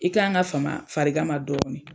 I k'an ka fama farigan ma dɔɔni.